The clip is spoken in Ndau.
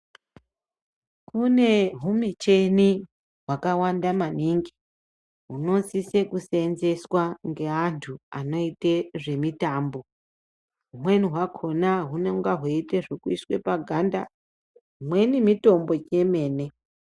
Kune humichini hwakawanda maningi hunosise kuseenzeswa ngeantu anoite zvemitambo. Hwumweni hwakona hunoite zvekuiswe paganda, hwumweni mitombo yomene.